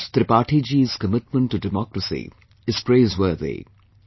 Prakash Tripathi ji's commitment to democracy is praiseworthy